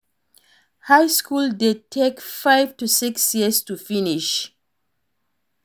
High school de take five to six years to finish